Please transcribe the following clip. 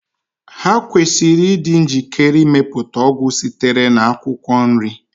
Ha kwesịrị ịdị njikere ịmepụta ọgwụ sitere na akwụkwọ nri